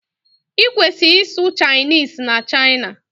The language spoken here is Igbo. Ị kwesi-isụ Chinese na China.